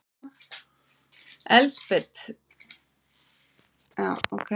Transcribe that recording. Elsabet, hvernig er veðrið í dag?